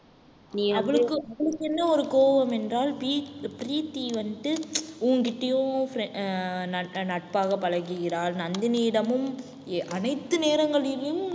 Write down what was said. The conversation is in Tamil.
நீ அவளுக்கும் அவளுக்கென்ன ஒரு கோவம் என்றால் பிரீத்~ பிரீத்தி வந்துட்டு உன்கிட்டயும் frie~ அஹ் அஹ் நட்பாக பழகுகிறாள் நந்தினியிடமும் அனைத்து நேரங்களிலும்